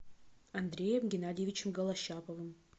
андреем геннадьевичем голощаповым